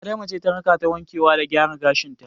Adama ce ta rakata wankewa da gyara gashin ta.